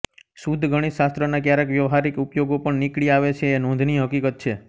શુધ્ધ ગણિતશાસ્ત્રના ક્યારેક વ્યાવહારિક ઉપયોગો પણ નીકળી આવે છે એ નોંધનીય હકીકત છે